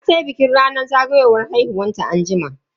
Za tayi bikin zagayowar ranar haihuwanta anjima.